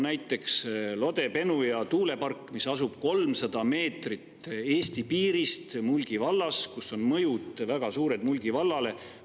Näiteks Lode-Penuja tuulepark asub Eesti piirist 300 meetri kaugusel ja väga suurt mõju Mulgi vallale.